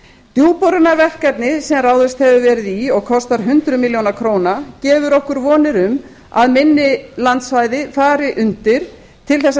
djúpborunarverkefni sem ráðist hefur verið í og kostar hundruð milljóna króna gefur okkur vonir um að minni landsvæði fari undir til þess að